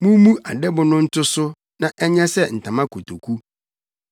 Mummu adɛbo no nto so na ɛnyɛ sɛ ntama nkotoku.